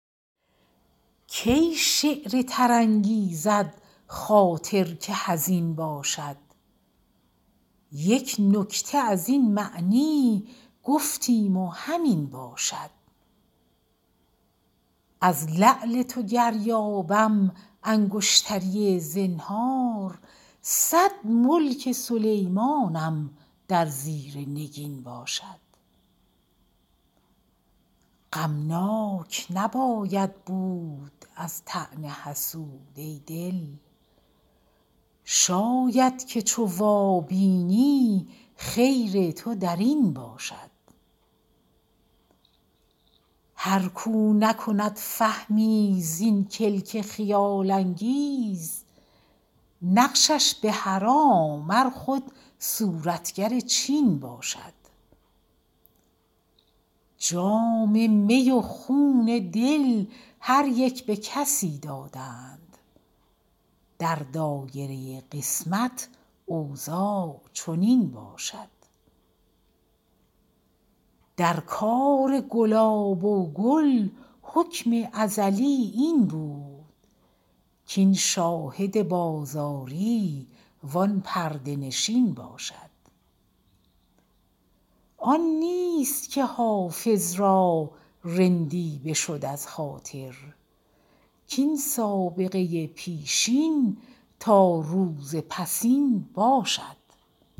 کی شعر تر انگیزد خاطر که حزین باشد یک نکته از این معنی گفتیم و همین باشد از لعل تو گر یابم انگشتری زنهار صد ملک سلیمانم در زیر نگین باشد غمناک نباید بود از طعن حسود ای دل شاید که چو وابینی خیر تو در این باشد هر کاو نکند فهمی زین کلک خیال انگیز نقشش به حرام ار خود صورتگر چین باشد جام می و خون دل هر یک به کسی دادند در دایره قسمت اوضاع چنین باشد در کار گلاب و گل حکم ازلی این بود کاین شاهد بازاری وان پرده نشین باشد آن نیست که حافظ را رندی بشد از خاطر کاین سابقه پیشین تا روز پسین باشد